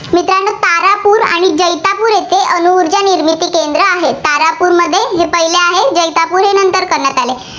निर्मिती केंद्रं आहेत. तारापूरमध्ये जे पहिले आहे, जैतापूर हे नंतर करण्यात आले.